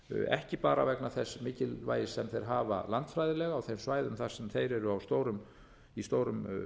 ekki bara vegna þess mikilvægis sem þeir hafa landfræðilega á þeim svæðum þar sem þeir eru í stórum